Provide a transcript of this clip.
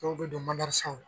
dɔw bɛ don madarasaw la